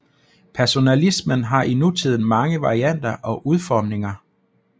Personalismen har i nutiden mange varianter og udformninger